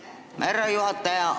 Aitäh, härra juhataja!